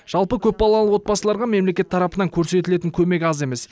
жалпы көпбалалы отбасыларға мемлекет тарапынан көрсетілетін көмек аз емес